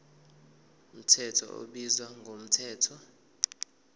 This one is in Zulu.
mthetho ubizwa ngomthetho